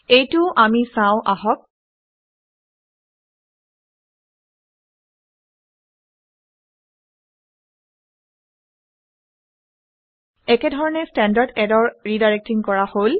এইটোও আমি চাওঁ আহক। একেধৰণে ষ্টেণ্ডাৰ্ড ইৰৰৰ ৰিডাইৰেক্টিং কৰা হল